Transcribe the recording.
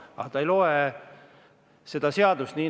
Aga ta ei loe seda seadust.